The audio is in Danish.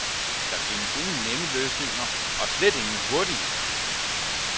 Der findes ingen nemme løsninger, og slet ingen hurtige.